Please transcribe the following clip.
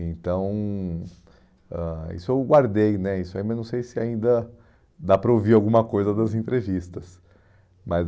Então, ãh isso eu guardei né, isso aí, mas não sei se ainda dá para ouvir alguma coisa das entrevistas. Mas